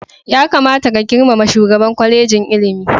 Ya kamata ka girmama shugaban kwalejin ilimin.